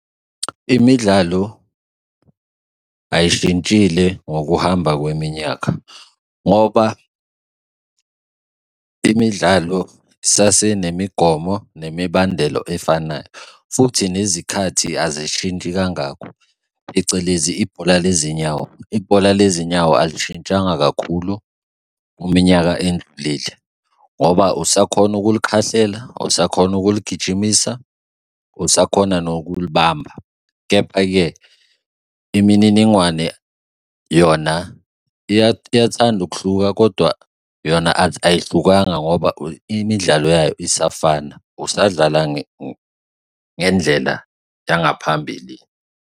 Imidlalo ayishintshile ngokuhamba kweminyaka, ngoba imidlalo sasenemigomo nemibandelo efanayo futhi nezikhathi azishintshi kangako, phecelezi ibhola lezinyawo. Ibhola lezinyawo alishintshanga kakhulu iminyaka endlulile, ngoba usakhona ukulikhahlela, usakhona ukuligijimisa, usakhona nokulibamba. Kepha-ke, imininingwane yona iyathanda ukuhluka kodwa yona ayihlukanga ngoba imidlalo yayo isafana, usadlala ngendlela yangaphambili.